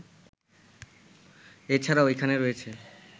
এ ছাড়াও এখানে রয়েছে